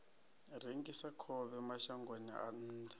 rengisa khovhe mashangoni a nnḓa